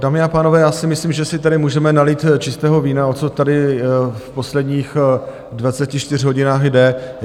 Dámy a pánové, já si myslím, že si tady můžeme nalít čistého vína, o co tady v posledních 24 hodinách jde.